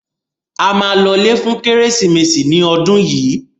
A ma lọlé fún Kérésìmesì ní ọdún yìí